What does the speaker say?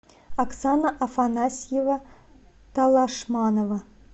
оксана афанасьева талашманова